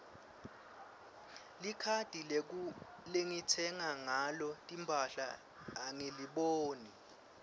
likhadi lengitsenga ngalo timphahla angiliboni